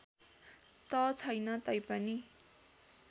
त छैन तैपनि